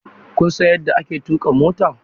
Kun san yadda ake tuƙa mota?